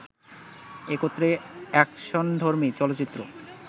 একত্রে অ্যাকশনধর্মী চলচ্চিত্র